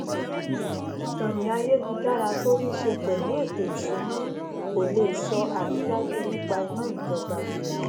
ìkannì ayélujára tó níṣe pèlú ẹtò ìsúná kò lè sọ àrídájú nípa iná ìjọba